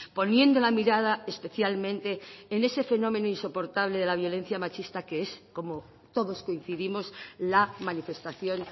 poniendo la mirada especialmente en ese fenómeno insoportable de la violencia machista que es como todos coincidimos la manifestación